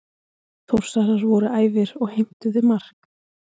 Þórsarar voru æfir og heimtuðu mark.